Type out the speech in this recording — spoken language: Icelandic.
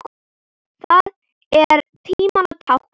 Það er tímanna tákn.